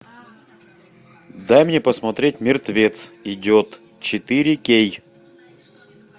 дай мне посмотреть мертвец идет четыре кей